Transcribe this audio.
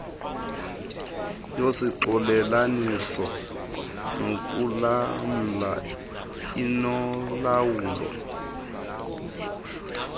yoxolelaniso nokulamla inolawulo